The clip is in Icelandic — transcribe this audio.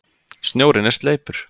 Snjórinn er sleipur!